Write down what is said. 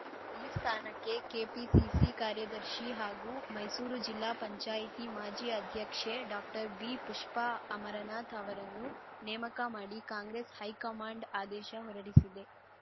ಈ ಸ್ಥಾನಕ್ಕೆ ಕೆಪಿಸಿಸಿ ಕಾರ್ಯದರ್ಶಿ ಹಾಗೂ ಮೈಸೂರು ಜಿಲ್ಲಾ ಪಂಚಾಯತಿ ಮಾಜಿ ಅಧ್ಯಕ್ಷೆ ಡಾಕ್ಟರ್ ಬಿಪುಷ್ಪಾ ಅಮರನಾಥ್‌ ಅವರನ್ನು ನೇಮಕ ಮಾಡಿ ಕಾಂಗ್ರೆಸ್‌ ಹೈಕಮಾಂಡ್‌ ಆದೇಶ ಹೊರಡಿಸಿದೆ